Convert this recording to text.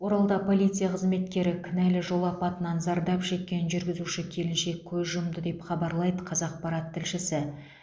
оралда полиция қызметкері кінәлі жол апатынан зардап шеккен жүргізуші келіншек көз жұмды деп хабарлайды қазақпарат тілшісі